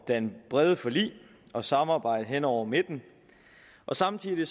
danne brede forlig og samarbejde hen over midten og samtidig